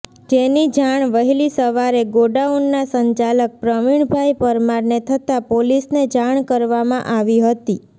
જેની જાણ વહેલી સવારે ગોડાઉનના સંચાલક પ્રવિણભાઈ પરમારને થતા પોલીસને જાણ કરવામાં આવી હતી